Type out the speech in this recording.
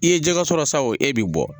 I ye jɛgɛ sɔrɔ sa o e bi bɔ